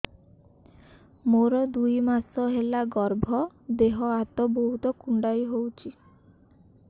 ମୋର ଦୁଇ ମାସ ହେଲା ଗର୍ଭ ଦେହ ହାତ ବହୁତ କୁଣ୍ଡାଇ ହଉଚି